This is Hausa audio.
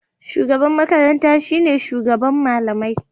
shugaban makaranta shine shugaban malamai